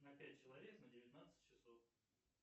на пять человек на девятнадцать часов